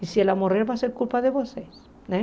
E se ela morrer, vai ser culpa de vocês, né?